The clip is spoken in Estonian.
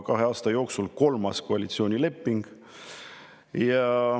Kahe aasta jooksul tuleb juba kolmas koalitsioonileping.